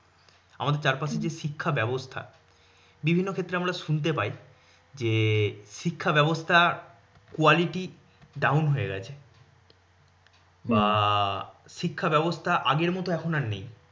জেতাআমাদের চারপাশে যে শিক্ষা ব্যবস্থা বিভিন্ন ক্ষেত্রে আমরা শুনতে পাই যে শিক্ষা ব্যবস্থার quality down হয়ে গেছে। বা শিক্ষা ব্যবস্থা আগের মত এখন আর নেই।